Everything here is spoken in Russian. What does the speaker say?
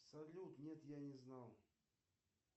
салют нет я не знал